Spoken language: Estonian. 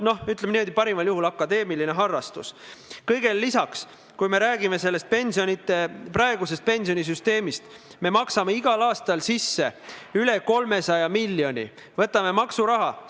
Kahtlemata tuleb ka nende punktidega, mille kohta on pikendust küsitud, edasi minna, mitte oodata viis aastat ja hakata alles viimasel aastal, ma ei tea, imekiiresti tegutsema, sest äkki hakkab tähtaeg kätte jõudma.